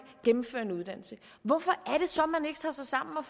gennemfører en uddannelse hvorfor er det så man ikke tager sig sammen og